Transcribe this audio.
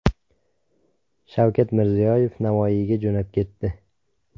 Shavkat Mirziyoyev Navoiyga jo‘nab ketdi.